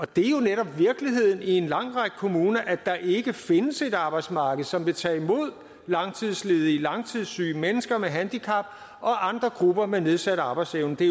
det er jo netop virkeligheden i en lang række kommuner at der ikke findes et arbejdsmarked som vil tage imod langtidsledige langtidssyge og mennesker med handicap og andre grupper med nedsat arbejdsevne det